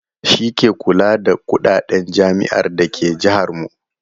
Shi ke kula da kuɗaɗen jami'ar da ke jahar mu.